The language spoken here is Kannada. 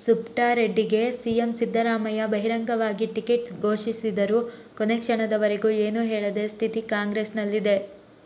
ಸುಬ್ಟಾರೆಡ್ಡಿಗೆ ಸಿಎಂ ಸಿದ್ದರಾಮಯ್ಯ ಬಹಿರಂಗವಾಗಿ ಟಿಕೆಟ್ ಘೋಷಿಸಿದರೂ ಕೊನೆ ಕ್ಷಣದವರೆಗೂ ಏನು ಹೇಳದ ಸ್ಥಿತಿ ಕಾಂಗ್ರೆಸ್ನಲ್ಲಿದೆ